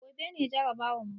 Gobe ne jarabawar mu